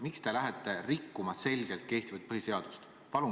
Miks te lähete ilmselgelt rikkuma kehtivat põhiseadust?